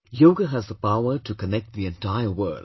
Yoga has the power to connect the entire world